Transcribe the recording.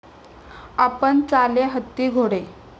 आपण चाले हत्ती घोडे